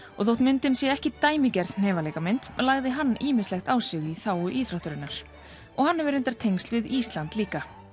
og þótt myndin sé ekki dæmigerð lagði hann ýmislegt á sig í þágu íþróttarinnar og hann hefur reyndar hefur tengsl við Ísland líka